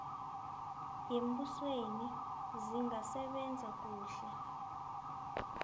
yembusweni zingasebenza kuhle